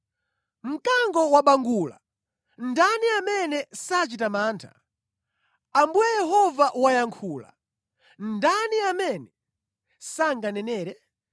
Mkango wabangula, ndani amene sachita mantha? Ambuye Yehova wayankhula, ndani amene sanganenere?